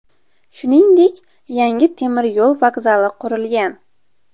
Shuningdek, yangi temir yo‘l vokzali qurilgan.